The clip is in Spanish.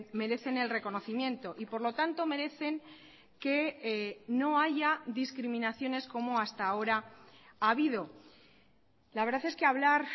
merecen el reconocimiento y por lo tanto merecen que no haya discriminaciones como hasta ahora ha habido la verdad es que hablar